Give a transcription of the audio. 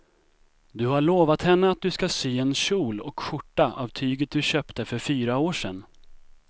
Du har lovat henne att du ska sy en kjol och skjorta av tyget du köpte för fyra år sedan.